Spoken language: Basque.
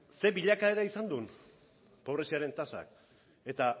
zein bilaka izan duen pobreziaren tasak